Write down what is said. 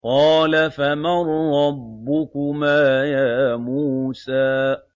قَالَ فَمَن رَّبُّكُمَا يَا مُوسَىٰ